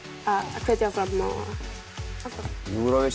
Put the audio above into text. hvetja áfram Eurovision